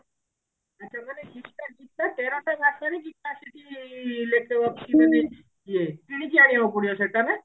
ଗୋଟେ ଗୀତା ତେରଟା ଭାଷାରେ ଗୀତା ସେଠି ଲେ ଅଛି ମାନେ ଇଏ କିଣିକି ଆଣିବାକୁ ପଡିବ ସେଟା ନା